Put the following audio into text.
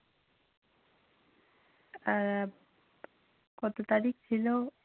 আহ কত তারিখ ছিল?